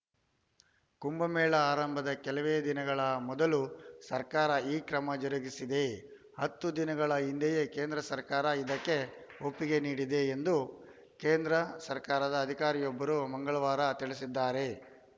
ಕುಂಭಮೇಳ ಆರಂಭದ ಕೆಲವೇ ದಿನಗಳ ಮೊದಲು ಸರ್ಕಾರ ಈ ಕ್ರಮ ಜರುಗಿಸಿದೆ ಹತ್ತು ದಿನಗಳ ಹಿಂದೆಯೇ ಕೇಂದ್ರ ಸರ್ಕಾರ ಇದಕ್ಕೆ ಒಪ್ಪಿಗೆ ನೀಡಿದೆ ಎಂದು ಕೇಂದ್ರ ಸರ್ಕಾರದ ಅಧಿಕಾರಿಯೊಬ್ಬರು ಮಂಗಳವಾರ ತಿಳಿಸಿದ್ದಾರೆ